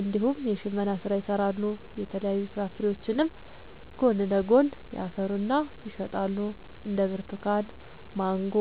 እንዲሁም የሽመና ስራ ይሰራሉ የተለያዩ ፍራፍሬዎችንም ጎን ለጎን ያፈሩና ይሸጣሉ እንደ ብርቱካን ማንጎ